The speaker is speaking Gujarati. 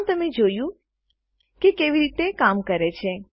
આમ તમે જોયું કે તે કેવી રીતે કામ કરે છે